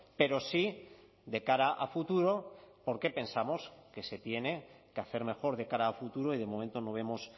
pero sí de cara a futuro porque pensamos que se tiene que hacer mejor de cara a futuro y de momento no vemos